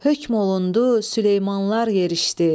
Höküm olundu, Süleymanlar yerişdi.